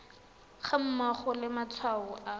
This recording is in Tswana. ga mmogo le matshwao a